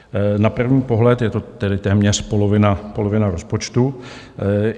Na první pohled je to tedy téměř polovina rozpočtu.